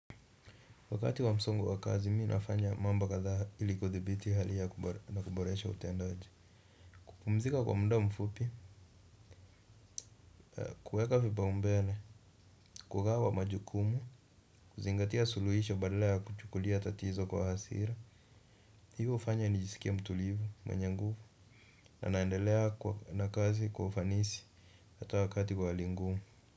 Wakati wa msongo wa kazi, mimi nafanya mambo kadhaa ili kuthibiti hali ya na kuboresha utendaji. Kupumzika kwa muda mfupi, kuweka vipaumbele, kugawa majukumu, kuzingatia suluhisha badala ya kuchukulia tatizo kwa hasira, hii hufanya nijisikie mtulivu mwenye nguvu na naendelea kwa na kazi kwa ufanisi hata wakati wa hali ngumu.